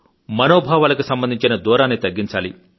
మనోభావాలకు సంబంధించిన దూరాన్ని తగ్గించాలి